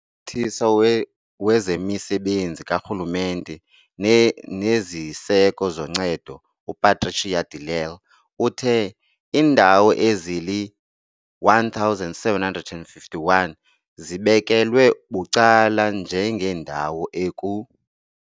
UMphathiswa wezeMisebenzi kaRhulumente neziSeko zoNcedo uPatricia de Lille uthe- Iindawo ezili-1 751 zibekelwe bucala njengeendawo eku.